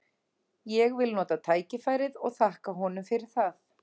Ég vil nota tækifærið og þakka honum fyrir það.